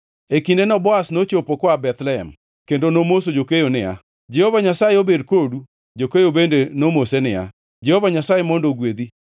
E kindeno Boaz nochopo koa Bethlehem, kendo nomoso jokeyo niya, “Jehova Nyasaye obed kodu!” Jokeyo bende nomose niya, “Jehova Nyasaye mondo ogwedhi.”